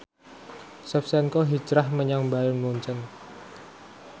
Shevchenko hijrah menyang Bayern Munchen